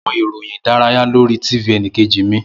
Mo wo awọn iroyin idaraya lori TV ẹnikeji mi.